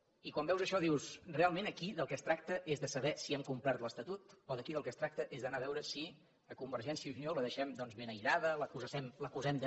i quan veus això dius realment aquí del que es tracta és de saber si hem complert l’estatut o aquí del que es tracta és d’anar a veure si a convergència i unió la deixem doncs ben aïllada l’acusem de